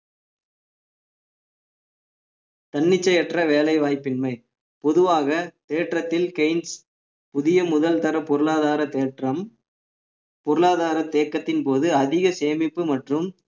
தன்னிச்சையற்ற வேலைவாய்ப்பின்மை பொதுவாக ஏற்றத்தில் புதிய முதல்தர பொருளாதார தேற்றம் பொருளாதார தேக்கத்தின் போது அதிக சேமிப்பு மற்றும்